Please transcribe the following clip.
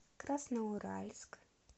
красноуральск